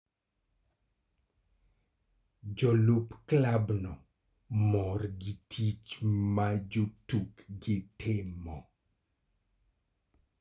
Jolup klabno mor gi tich ma jotukgi timo.